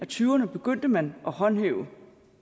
tyverne begyndte man at håndhæve